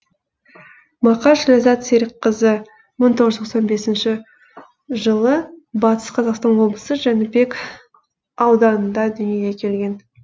мақаш ләззат серікқызы мың тоғыз жүз тоқсан бесінші жылы батыс қазақстан облысы жәнібек ауданында дүниеге келген